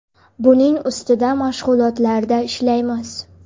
Buning ustida mashg‘ulotlarda ishlaymiz.